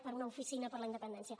per una oficina per la independència